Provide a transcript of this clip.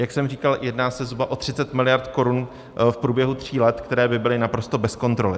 Jak jsem říkal, jedná se zhruba o 30 miliard korun v průběhu tří let, které by byly naprosto bez kontroly.